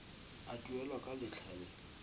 a duelwa ka letlha le